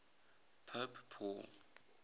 pope paul